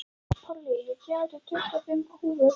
Pollý, ég kom með tuttugu og fimm húfur!